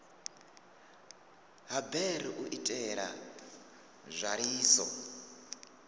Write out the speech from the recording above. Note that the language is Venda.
ha bere u itela nzwaliso